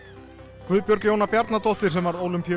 Guðbjörg Jóna Bjarnadóttir sem varð